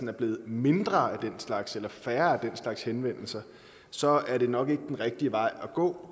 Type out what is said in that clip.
er blevet mindre af den slags eller færre af den slags henvendelser så er det nok ikke den rigtige vej at gå